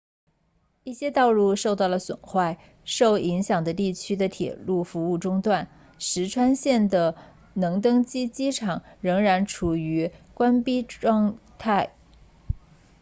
一些道路受到了损坏受影响地区的铁路服务中断石川 ishikawa 县的能登机场仍然处于关闭状态